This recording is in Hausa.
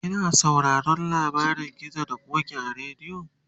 kina sauraron labarin gizo da ƙoki a radio?